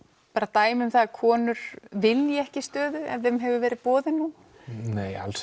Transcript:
dæmi um það að konur vilji ekki stöður ef þeim hefur verið boðið hún nei alls